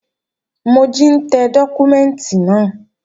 Mojí ń tẹ dọ́kúmẹ́ǹtì náà